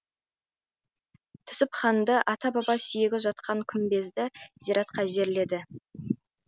түсіпханды ата баба сүйегі жатқан күмбезді зиратқа жерледі